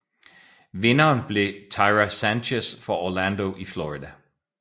Vinderen blev Tyra Sanchez fra Orlando i Florida